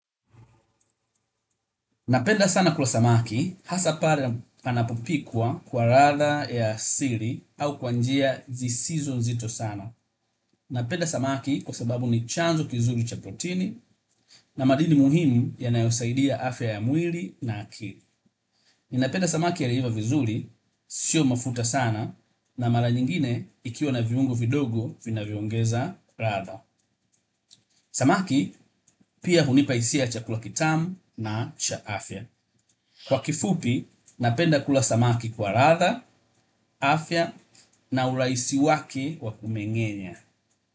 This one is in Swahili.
Napenda sana kula samaki, hasa pale panapopikwa kwa ladha ya asili au kwa njia zisizo nzito sana. Napenda samaki kwa sababu ni chanzo kizuri cha protini na madini muhimu yanayosaidia afya ya mwili na akili. Napenda samaki aliyeiva vizuri, sio mafuta sana na mara nyingine ikiwa na viungo vidogo vinavyoongeza ladha. Samaki pia hunipa hisia ya chakula kitamu na cha afya. Kwa kifupi, napenda kula samaki kwa ladha, afya na urahisi wake wakumeng'enya.